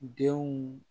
Denw